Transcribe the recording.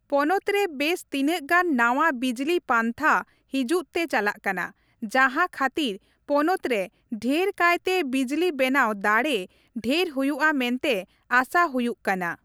ᱯᱚᱱᱚᱛ ᱨᱮ ᱵᱮᱥ ᱛᱤᱱᱟᱹᱜ ᱜᱟᱱ ᱱᱟᱣᱟ ᱵᱤᱡᱽᱞᱤ ᱯᱟᱱᱛᱷᱟ ᱦᱤᱡᱩᱜ ᱛᱮ ᱪᱟᱞᱟᱜ ᱠᱟᱱᱟ, ᱡᱟᱸᱦᱟ ᱠᱷᱟᱹᱛᱤᱨ ᱯᱚᱱᱚᱛ ᱨᱮ ᱰᱷᱮᱨ ᱠᱟᱭᱛᱮ ᱵᱤᱡᱽᱞᱤ ᱵᱮᱱᱟᱣ ᱫᱟᱲᱮ ᱰᱷᱮᱨ ᱦᱩᱭᱩᱜᱼᱟ ᱢᱮᱱᱛᱮ ᱟᱥᱟ ᱦᱩᱭᱩᱜ ᱠᱟᱱᱟ ᱾